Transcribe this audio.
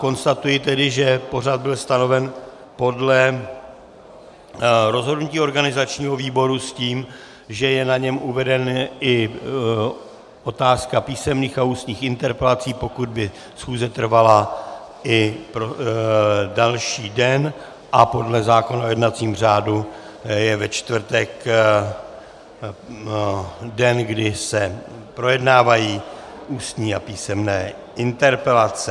Konstatuji tedy, že pořad byl stanoven podle rozhodnutí organizačního výboru s tím, že je na něm uvedena i otázka písemných a ústních interpelací, pokud by schůze trvala i další den, a podle zákona o jednacím řádu je ve čtvrtek den, kdy se projednávají ústní a písemné interpelace.